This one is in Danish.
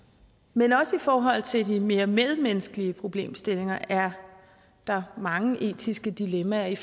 men også i forhold til de mere mellemmenneskelige problemstillinger er der mange etiske dilemmaer i